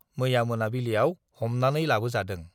मैया मोनाबिलियाव हमनानै लाबोजादों।